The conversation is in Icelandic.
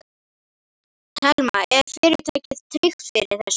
Telma: Er fyrirtækið tryggt fyrir þessu?